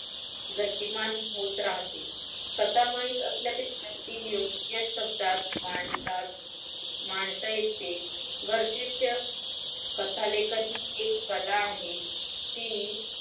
गतिमान होत राहते स्वतः माहित असल्या पेक्षा ती योग्य शब्दात माणसात मानस येते गरजेच्या कथालेखन ही एक कला आहे ती.